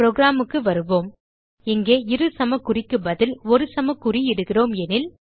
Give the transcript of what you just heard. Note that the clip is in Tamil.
programக்கு வருவோம் இங்கே இரு சமக்குறிக்கு பதில் ஒரு சமக்குறி இடுகிறோம் எனில்